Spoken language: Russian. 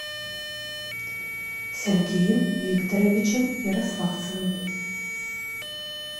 сергеем викторовичем ярославцевым